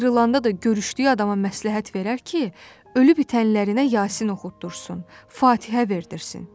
Ayrılanda da görüşdüyü adama məsləhət verər ki, ölü-bitənlərinə Yasin oxutdursun, Fatihə verditsin.